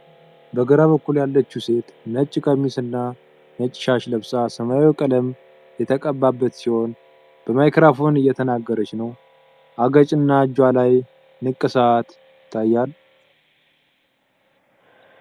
በግራ በኩል ያለችው ሴት ነጭ ቀሚስና ነጭ ሻሽ ለብሳ ሰማያዊ ቀለም የተቀባበት ሲሆን፣ በማይክሮፎን እየተናገረች ነው። አገጭና እጇ ላይ ንቅሳት ይታያል።